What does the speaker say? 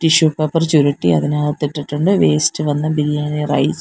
tissue paper ചുരുട്ടി അതിനകത്തിട്ടുണ്ട് waste വന്ന ബിരിയാണി റൈസ് --